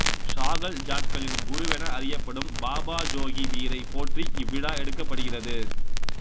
சாஹல் ஜாட்களின் குருவென அறியப்படும் பாபா ஜோகி பீரைப் போற்றி இவ்விழா எடுக்கப்படுகிறது